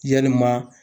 Yalima